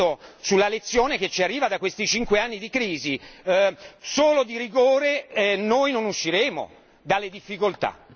Innanzitutto sulla lezione che ci arriva da questi cinque anni di crisi con il solo rigore, non usciremo dalle difficoltà.